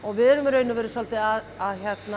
við erum í rauninni svolítið að